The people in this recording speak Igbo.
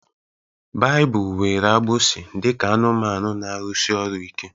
Baịbụl were agbụsi dị ka anụmanụ na-arụsi ọrụ ike